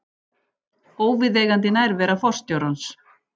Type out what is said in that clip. Óviðeigandi nærvera forstjórans